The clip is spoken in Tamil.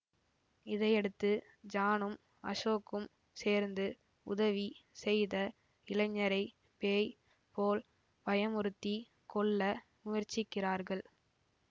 இதையடுத்து ஜானும் அசோக்கும் சேர்ந்து உதவி செய்த இளைஞரை பேய் போல் பயமுறுத்தி கொல்ல முயற்சிக்கிறார்கள்